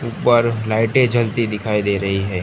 ऊपर लाइटें जलती दिखाई दे रही है।